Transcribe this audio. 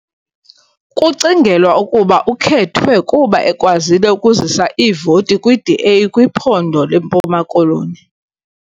Kucingelwa ukuba ukhethwe kuba ekwazile ukuzisa iivoti kwiDA kwiphondo leMpuma Koloni .